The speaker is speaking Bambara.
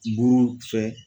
Buru fɛ